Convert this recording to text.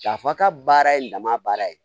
K'a fɔ a ka baara ye dama baara ye